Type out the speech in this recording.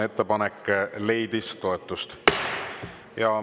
Ettepanek leidis toetust.